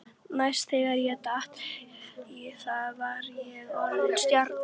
Næst þegar ég datt í það var ég orðinn stjarna.